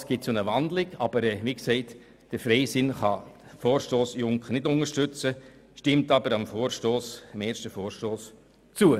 Allenfalls wird sie ja in ein Postulat gewandelt, aber wie gesagt, der Freisinn kann den Vorstoss Junker nicht unterstützen, stimmt aber dem ersten Vorstoss zu.